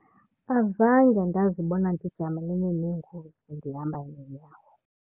Azange ndazibona ndijamelene neengozi ndihamba ngenyawo.